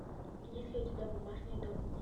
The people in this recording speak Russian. есть ли у тебя бумажный дом